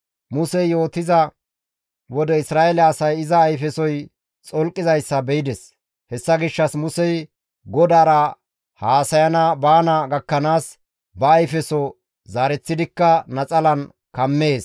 Musey yootiza wode Isra7eele asay iza ayfesoy xolqizayssa be7ides. Hessa gishshas Musey GODAARA haasayana baana gakkanaas ba ayfeso zaareththidikka naxalan kammees.